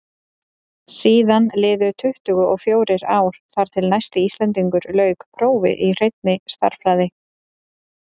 síðan liðu tuttugu og fjórir ár þar til næsti íslendingur lauk prófi í hreinni stærðfræði